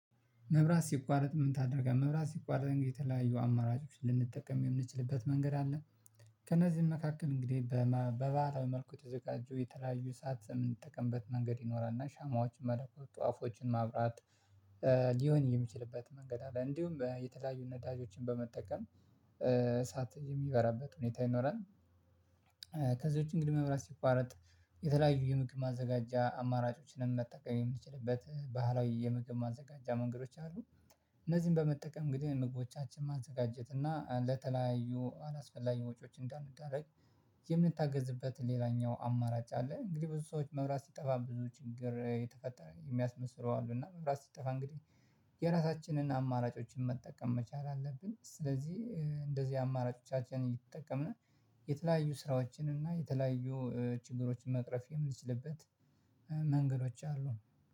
መብራት ሲቋረጥ የምንታደርገው መብራት ሲቋረጥ እንግዲህ የተለያዩ አማራጮች ልንጠቀም የምንችልበት መንገድ አለ። ከእነዚህም መካከል እንግዲህ በባህታዊ መልኩ ተዘጋጁ የተለያዩ ሰዓት የምንጠቀምበት መንገድ ይኖራል እና ሻማዎች መለኮስ ጧፎችን ማብራት። ሊሆን የሚችልበት መንገድ አለ እንዲሁም የተለያዩ ነዳጆችን በመጠቀም እሳት የሚበራበት ሁኔታ ይኖራል። ከዚህ ውጪ እንግዲህ መብራት ሲቋረጥ የተለያዩ የምግብ ማዘጋጃ አማራጮችንም መጠቀም የምንችልበት ባህላዊ የምግብ ማዘጋጃ መንገዶች አሉ። እነዚህን በመጠቀም እንግዲህ ምግቦቻችን ማዘጋጀት እና ለተለያዩ አላስፈላጊ ወጪዎች እንዳንደረግ የምንታገዝበትን ሌላኛው አማራጭ አለ። እንግዲህ ብዙ ሰዎች መብራት ሲጠፋ ብዙ ችግር የተፈጠረ የሚያስመስሉ አሉ እና መብራት ሲጠፋ እንግዲህ የራሳችንን አማራጮችን መጠቀም መቻል አለብን። ስለዚህ እንደዚህ አማራጮቻችን እየተጠቀምን የተለያዩ ስራዎችን እና የተለያዩ ችግሮችን መቅረፍ የምንችልበት መንገዶች አሉ